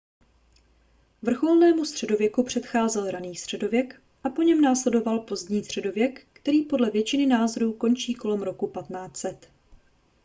vrcholnému středověku předcházel raný středověk a po něm následoval pozdní středověk který podle většiny názorů končí kolem roku 1500